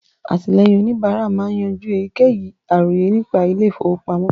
Àtìlẹ́yìn òníbárà máa ń yanjú èyíkéyìí àròyé nípa ilé ìfọwọ́pamọ́